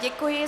Děkuji.